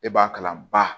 E b'a kalan ba